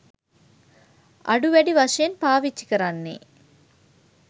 අඩු වැඩි වශයෙන්පාවිච්චි කරන්නේ.